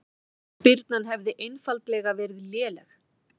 Spyrnan hefði einfaldlega verið léleg